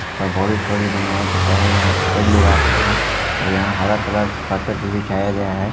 बाडी सोडी बनाया जाता हैं यहां पे कई लोग आते है और यहां हरा कलर कार्पेट भी बिछाया गया हैं।